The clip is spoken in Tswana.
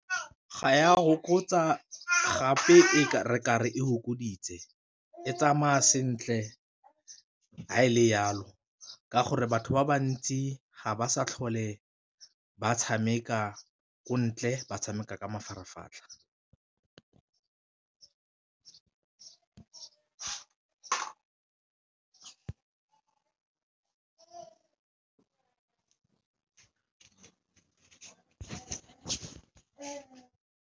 Ga ya go fokotsa gape re ka re e fokoditse, e tsamaya sentle fa e le jalo ka gore batho ba bantsi ga ba sa tlhole ba tshameka ko ntle ba tshameka ka mafaratlhatlha.